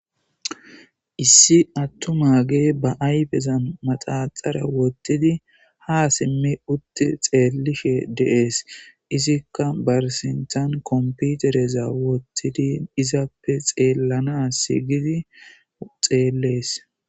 Issi attu m aage ba ayfezan maxaxara wottidi ha simme utti xeellishe deees izikka barsintan komputereza wottidi izappe xeellana sigidi xeellees.